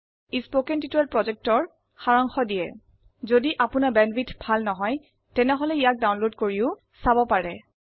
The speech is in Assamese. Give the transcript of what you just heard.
কথন শিক্ষণ প্ৰকল্পৰ সাৰাংশ ইয়াত আছে যদি আপোনাৰ বেণ্ডৱিডথ ভাল নহয় তেনেহলে ইয়াক ডাউনলোড কৰি চাব পাৰে